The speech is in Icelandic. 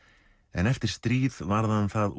en eftir stríð varð hann það